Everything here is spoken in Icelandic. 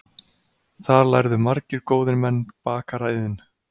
Þar lærðu margir góðir menn bakaraiðn.